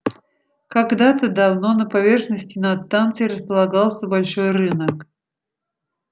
когда-то давно на поверхности над станцией располагался большой рынок